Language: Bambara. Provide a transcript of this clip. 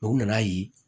u nana ye